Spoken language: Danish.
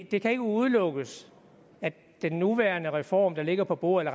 det kan ikke udelukkes at den nuværende reform der ligger på bordet